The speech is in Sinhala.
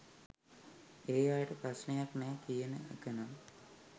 ඒ අයට ප්‍රශ්නයක් නෑ කියන එකනම්